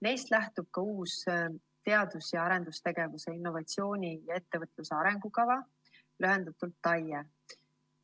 Neist lähtub ka uus teadus‑ ja arendustegevuse, innovatsiooni ja ettevõtluse arengukava TAIE.